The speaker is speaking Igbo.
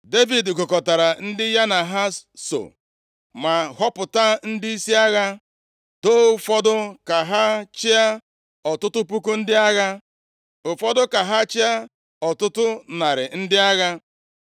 Devid gụkọtara ndị ya na ha so ma họpụta ndịisi agha. Doo ụfọdụ ka ha chịa ọtụtụ puku ndị agha, ụfọdụ ka ha chịa ọtụtụ narị ndị agha.